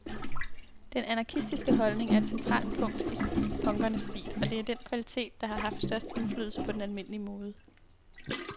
Den anarkistiske holdning er et centralt punkt i punkernes stil, og det er den kvalitet, der har haft størst indflydelse på den almindelige mode.